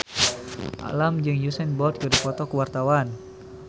Alam jeung Usain Bolt keur dipoto ku wartawan